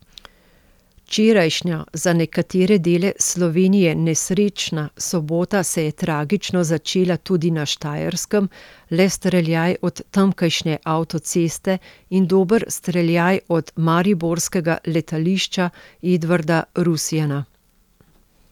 Včerajšnja za nekatere dele Slovenije nesrečna sobota se je tragično začela tudi na Štajerskem, le streljaj od tamkajšnje avtoceste in dober streljaj od mariborskega letališča Edvarda Rusjana.